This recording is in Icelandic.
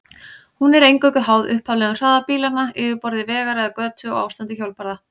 Hún er eingöngu háð upphaflegum hraða bílanna, yfirborði vegar eða götu og ástandi hjólbarða.